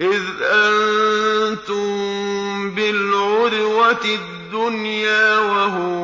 إِذْ أَنتُم بِالْعُدْوَةِ الدُّنْيَا وَهُم